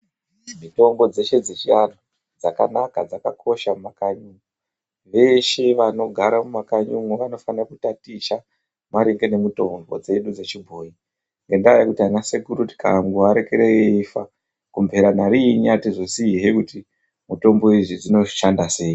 Mitombo dzeshe dzechiantu dzakanaka dzakakosha mumakanyi umu veshe vanogara mumakanyi umu vanofane kutaticha maringe nemitombo dzedu dzechibhoyi ngendaa yekuti ana sekuru tikandoarekera eifa kumpeya nariin atizosiyihe kuti mitombo idzi dzinoshanda sei.